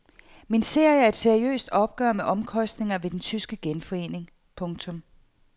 Min serie er et seriøst opgør med omkostningerne ved den tyske genforening. punktum